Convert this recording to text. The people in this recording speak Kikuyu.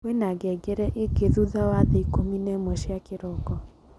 kwena ngengere igi thutha wa thaa ikũmi na ĩmwe cia kĩroko